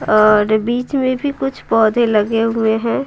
और बीच में भी कुछ पौधे लगे हुए हैं।